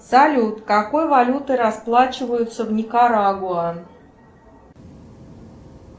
салют какой валютой расплачиваются в никарагуа